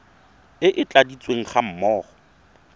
e e tladitsweng ga mmogo